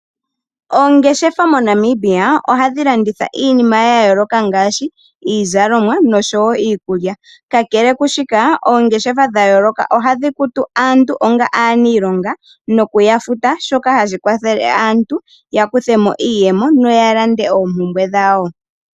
Oongeshefa moNamibia, ohadhi landitha iinima yayooloka ngaashi iizalomwa noshowo iikulya. Kakele kwaashika, oongeshefa dha yooloka ohadhi kutu aantu, onga aaniilonga noku yafuta, shoka hashi kwathele aantu ya kuthemo iiyemo opo ya lande oompumbwe dhawo.